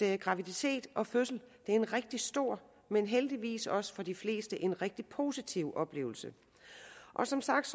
at graviditet og fødsel er en rigtig stor men heldigvis også for de fleste en rigtig positiv oplevelse som sagt